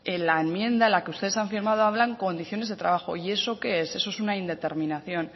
en la enmienda en la que ustedes han firmado hablan de condiciones de trabajo y eso qué es eso es una indeterminación